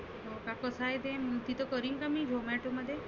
हो का काय ते तीथ करीन का मी zomato मध्ये?